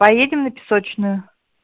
поедем на песочную